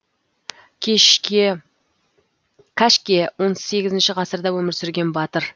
кәшке он сегізінші ғасырда өмір сүрген батыр